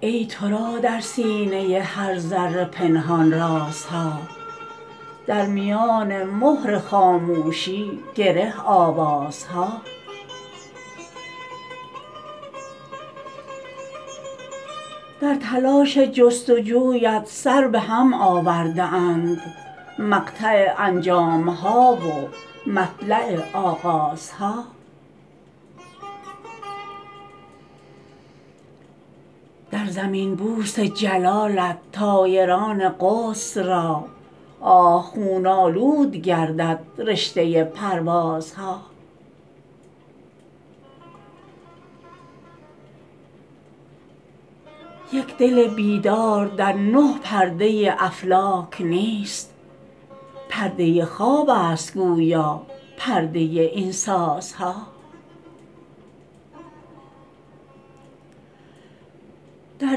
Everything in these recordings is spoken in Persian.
ای ترا در سینه هر ذره پنهان رازها در میان مهر خاموشی گره آوازها در تلاش جستجویت سر به هم آورده اند مقطع انجام ها و مطلع آغازها در زمین بوس جلالت طایران قدس را آه خون آلود گردد رشته پروازها یک دل بیدار در نه پرده افلاک نیست پرده خواب است گویا پرده این سازها در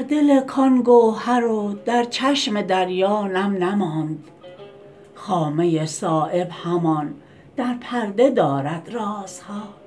دل کان گوهر و در چشم دریا نم نماند خامه صایب همان در پرده دارد رازها